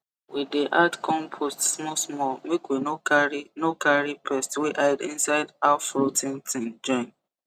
we dey add compost small-small make we no carry no carry pest wey hide inside half rot ten thing join